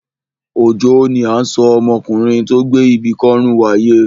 Òjó ni à ń sọ ọmọkùnrin tó gbé ibi kọ́rùn wáyé.